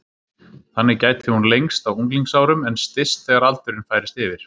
Þannig gæti hún lengst á unglingsárum en styst þegar aldurinn færist yfir.